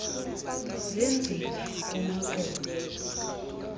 zenzile kona kona